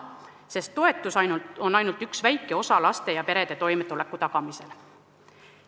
Sest toetus on ainult üks väike osa laste ja perede toimetuleku tagamisel.